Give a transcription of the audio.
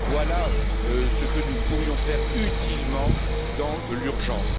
Voilà ce que nous pourrions faire utilement dans l'urgence.